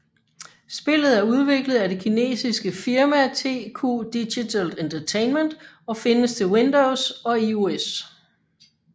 Spillet er udviklet af det kinesiske firma TQ Digital Entertainment og findes til Windows og IOS